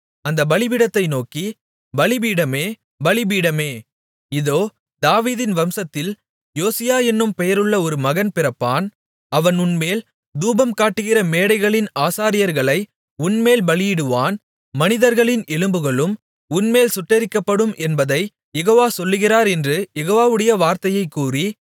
அந்த பலிபீடத்தை நோக்கி பலிபீடமே பலிபீடமே இதோ தாவீதின் வம்சத்தில் யோசியா என்னும் பெயருள்ள ஒரு மகன் பிறப்பான் அவன் உன்மேல் தூபங்காட்டுகிற மேடைகளின் ஆசாரியர்களை உன்மேல் பலியிடுவான் மனிதர்களின் எலும்புகளும் உன்மேல் சுட்டெரிக்கப்படும் என்பதைக் யெகோவா சொல்கிறார் என்று யெகோவாவுடைய வார்த்தையைக் கூறி